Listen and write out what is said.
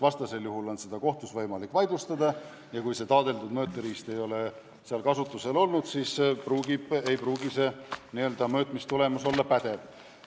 Vastasel juhul on tulemust võimalik kohtus vaidlustada, sest kui taadeldud mõõteriista ei ole kasutatud, siis ei pruugi mõõtmistulemus olla pädev.